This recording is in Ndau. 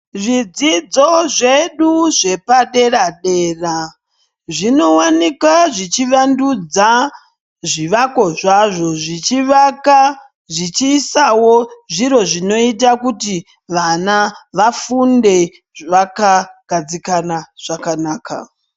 Zvidzidzo zvedu zvepadera-dera zvinowanika zvichivandudza zvivako zvazvo zvichivaka zvichiisawo zviro zvinoita kuti vana vafunde vakagadzikana.